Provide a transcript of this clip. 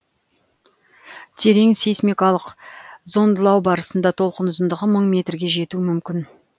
терең сейсмикалық зондылау барысында толқын ұзындығы мың метрге жетуі мүмкін